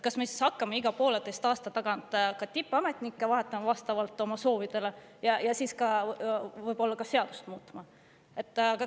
Kas me hakkame siis iga pooleteise aasta tagant ka tippametnikke vahetama vastavalt oma soovidele ja võib-olla ka seadust muutma?